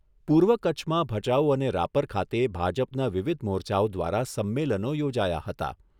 પૂર્વ કચ્છમાં ભચાઉ અને રાપર ખાતે ભાજપના વિવિધ મોરચાઓ દ્વારા સંમેલનો યોજાયા હતા.